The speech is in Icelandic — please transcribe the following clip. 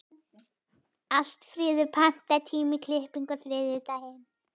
Ástfríður, pantaðu tíma í klippingu á þriðjudaginn.